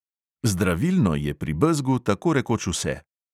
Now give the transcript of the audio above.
Zdravilno je pri bezgu tako rekoč vse.